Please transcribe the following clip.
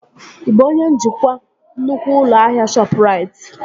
Ị bụ onye njikwa nnukwu ụlọ ahịa Shọpụrait?